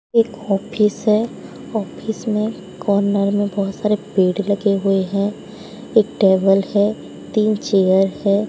एक ऑफिस है ऑफिस में कॉर्नर में बहुत सारे पेड़ लगे हुए हैं एक टेबल है तीन चेयर है।